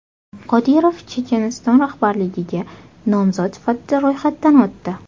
Qodirov Checheniston rahbarligiga nomzod sifatida ro‘yxatdan o‘tdi.